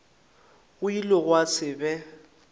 go ile gwa se be